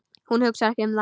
Hún hugsar ekki um það.